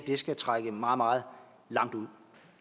skal trække meget meget langt ud